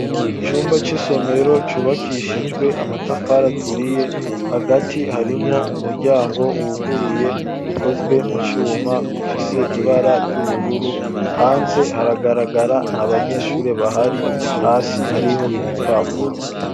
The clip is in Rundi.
Icumba c'isomero cubakishijwe amatafari aturiye, hagati harimwo umuryango wuguruye ukozwe mu cuma, ufise ibara ry'ubururu, hanze haragaragara nta banyeshure bahari, hasi hariho ibipapuro.